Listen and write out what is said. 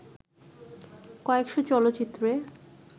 কয়েকশ চলচ্চিত্রে